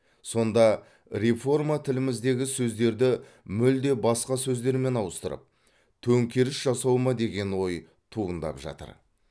сонда реформа тіліміздегі сөздерді мүлде басқа сөздермен ауыстырып төңкеріс жасау ма деген ой туындап жатыр